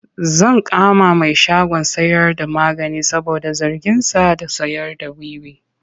Zan kama mai shagon sayarda magani saboda zarginsa da sayarda wiwi.